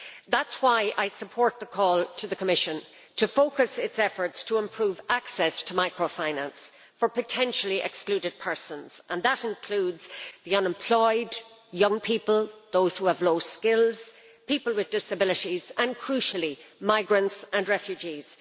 That is why I support the call to the Commission to focus its efforts to improve access to microfinance for potentially excluded persons, and that includes the unemployed, young people, those who have low skills, people with disabilities, and, crucially, migrants and refugees.